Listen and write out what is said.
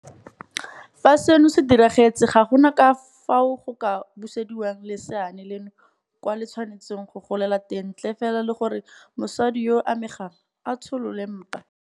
Fa seno se diragetse ga gona ka fao go ka busediwang leseana leno kwa le tshwanetseng go golela teng ntle fela le gore mosadi yo a amegang a tsholole mpa.